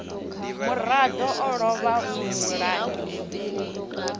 murado o lovha mulangi muhulu